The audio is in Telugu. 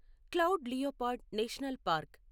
cloud leopard national park